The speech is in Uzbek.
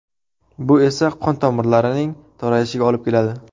Bu esa qon tomirlarining torayishiga olib keladi.